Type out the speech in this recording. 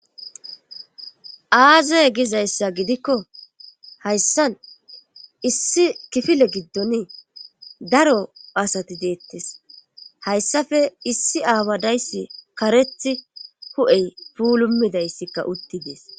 Aazey gizayssa gidikko hayssan issi kifile giddon daro asati deettes hayssafe issi aawadayssi karethi hu7ey puulumidayssikka uttidees.